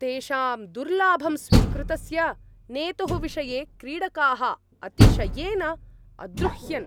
तेषां दुर्लाभं स्वीकृतस्य नेतुः विषये क्रीडकाः अतिशयेन अद्रुह्यन्।